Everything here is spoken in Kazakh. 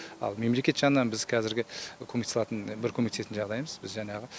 ал мемлекет жанынан біз қазіргі көмектесе алатын бір көмектесетін жағдайымыз біз жаңағы